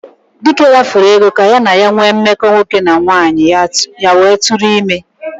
Dike rafuo Ego ka ya na ya nwee mmeko nwoke na nwaanyi ya wee tu ime.